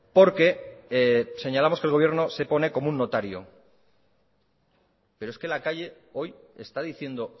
porque señalamos que el gobierno se pone como un notario peroes que la calle hoy está diciendo